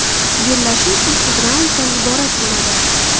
Bellashuv sakkiz raunddan iborat bo‘ladi.